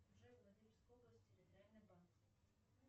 джой владимирская область территориальный банк